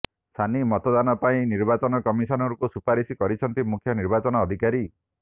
ସାନି ମତଦାନ ପାଇଁ ନିର୍ବାଚନ କମିଶନଙ୍କୁ ସୁପାରିଶ କରିଛନ୍ତି ମୁଖ୍ୟ ନିର୍ବାଚନ ଅଧିକାରୀ